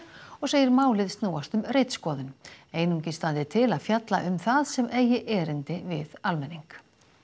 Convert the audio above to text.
og segir málið snúast um ritskoðun einungis standi til að fjalla um það sem eigi erindi við almenning